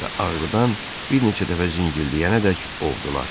Və ağrıdan bir neçə dəfə zingildiyənədək ovdular.